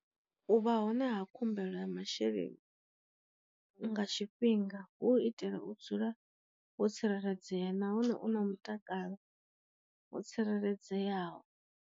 U vha hone ha khumbelo ya masheleni nga tshifhinga hu u itela u dzula ho tsireledzea nahone u na mutakalo ho tsireledzeaho.